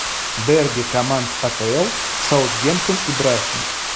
дерби команд апл саутгемптон и брайтон